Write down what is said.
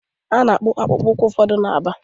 A na-akpụ akpụkpọ ụkwụ ụfọdụ na Aba.